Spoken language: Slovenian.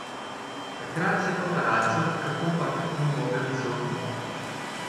Takrat se paparacom kakopak ni mogel izogniti.